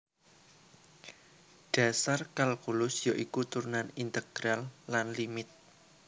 Dhasar kalkulus ya iku turunan integral lan limit